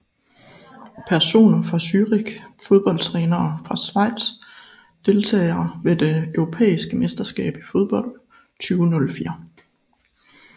Personer fra Zürich Fodboldtrænere fra Schweiz Deltagere ved det europæiske mesterskab i fodbold 2004